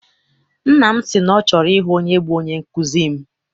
Nna m si na ọ chọrọ ịhụ onye bụ onye nkụzi m.